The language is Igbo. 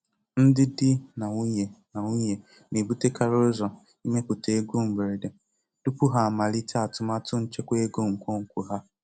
Ndị di na nwunye na nwunye na-ebutekarị ụzọ ịmepụta ego mberede tupu ha amalite atụmatụ nchekwa ego nkwonkwo ha.